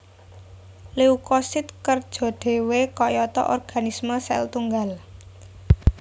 Leukosit kerja dhéwé kayata organisme sel tunggal